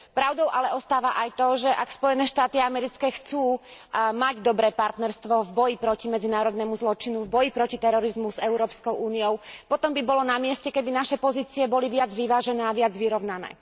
Pravdou ale ostáva aj to, že ak Spojené štáty americké chcú mať dobré partnerstvo v boji proti medzinárodnému zločinu, v boji proti terorizmu s Európskou úniou, potom by bolo na mieste, keby naše pozície boli viac vyvážené a viac vyrovnané.